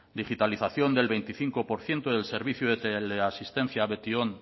digitalización del veinticinco por ciento del servicio de teleasistencia de betion